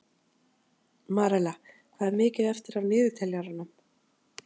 Marella, hvað er mikið eftir af niðurteljaranum?